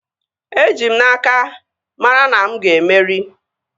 Eji m n'aka, mara na mụ ga-emeri